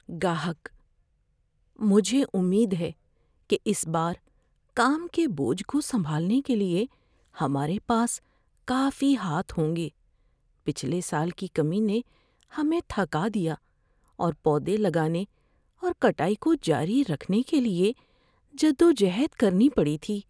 گاہک: "مجھے امید ہے کہ اس بار کام کے بوجھ کو سنبھالنے کے لیے ہمارے پاس کافی ہاتھ ہوں گے۔ پچھلے سال کی کمی نے ہمیں تھکا دیا اور پودے لگانے اور کٹائی کو جاری رکھنے کے لیے جدوجہد کرنی پڑی تھی۔"